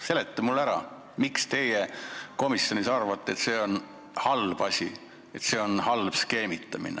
Seleta mulle ära, miks teie komisjonis arvate, et see on halb asi, skeemitamine.